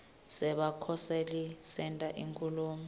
sebakhoseli senta inkhulumo